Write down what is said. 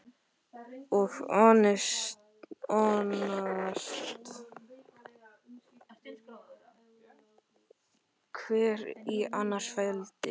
Og hnoðast, hver í annars feldi.